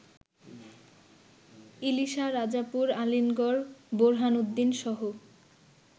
Ilisha, Rajapur, Alinagar, বোরহানউদ্দিনসহ